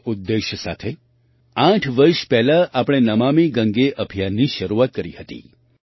આ ઉદ્દેશ્ય સાથે આઠ વર્ષ પહેલાં આપણે નમામિ ગંગે અભિયાનની શરૂઆત કરી હતી